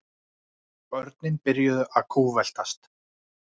Börnin byrjuðu að kútveltast.